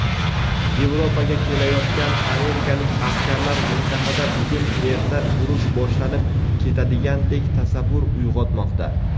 Yevropaga kelayotgan amerikalik askarlar - mintaqada bugun-erta urush boshlanib ketadigandek tasavvur uyg‘otmoqda.